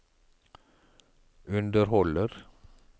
underholder